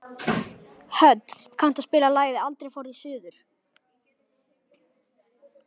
Hödd, kanntu að spila lagið „Aldrei fór ég suður“?